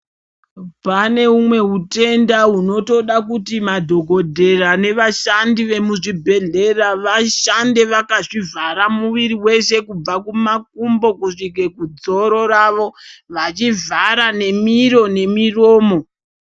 Pane umweni hutenda hunoda kuti madhokoteya nevashandi vemuzvibhedhlera vashande vakazvivhara mwiri weshe kubva kumakumbo kusvika kudzoro rawo vachivhara nemiro nemuromo.